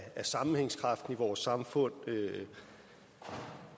sammenhængskraften i vores samfund når